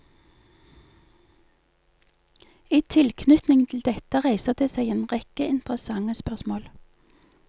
I tilknytning til dette reiser det seg en rekke interessante spørsmål.